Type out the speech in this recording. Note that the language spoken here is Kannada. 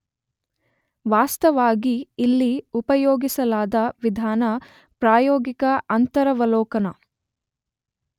ವಾಸ್ತವಾಗಿ ಇಲ್ಲಿ ಉಪಯೋಗಿಸಲಾದ ವಿಧಾನ ಪ್ರಾಯೋಗಿಕ ಅಂತರವಲೋಕನ.